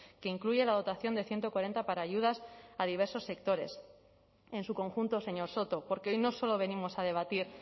que incluye la dotación de ciento cuarenta para ayudas a diversos sectores en su conjunto señor soto porque hoy no solo venimos a debatir